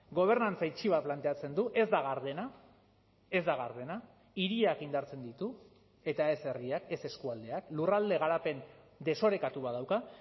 gobernantza itxi bat planteatzen du ez da gardena ez da gardena hiriak indartzen ditu eta ez herriak ez eskualdeak lurralde garapen desorekatu bat dauka